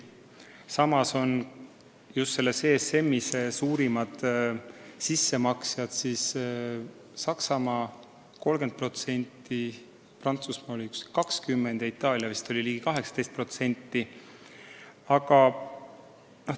Samas on ESM-is suurimad sissemaksjad Saksamaa 30%-ga, Prantsusmaa 20%-ga ja Itaalia vist ligi 18%-ga.